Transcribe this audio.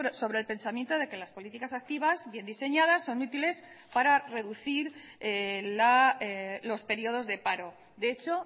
sobre el pensamiento de que las políticas activas bien diseñadas son útiles para reducir los períodos de paro de hecho